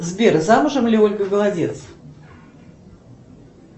сбер замужем ли ольга голодец